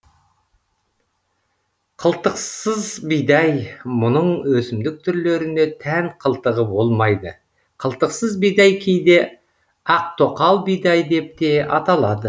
қылтықсыз бидай мұның өсімдік түрлеріне тән қылтығы болмайды қылтықсыз бидай кейде ақтоқал бидай деп те аталады